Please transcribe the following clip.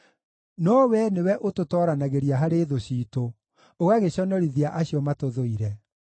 no Wee nĩwe ũtũtooranagĩria harĩ thũ ciitũ, ũgagĩconorithia acio matũthũire.